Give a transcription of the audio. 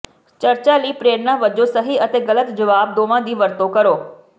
ਚਰਚਾ ਲਈ ਪ੍ਰੇਰਨਾ ਵਜੋਂ ਸਹੀ ਅਤੇ ਗਲਤ ਜਵਾਬ ਦੋਵਾਂ ਦੀ ਵਰਤੋਂ ਕਰੋ